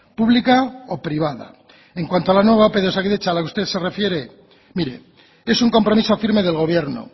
pública o privada en cuanto a la nueva ope de osakidetza a la que usted se refiere mire es un compromiso firme del gobierno